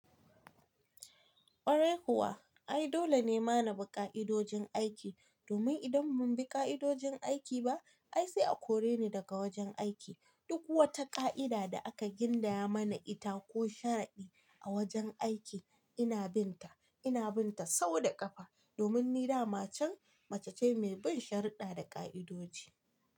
Ƙwarai kuwa, ai dole ne mana bi ƙa'idojin aiki, domin idan mun bi ƙa'idojin aiki ba, ai sai a kore ni daga wajen aiki. Duk wata ƙa'ida da aka gindaya mana ita ko sharadi a wajen aiki ina bin ta, ina bin ta sau da ƙafa. Domin ni dama can mace ce mai bin sharuɗɗa da ƙa'idoji.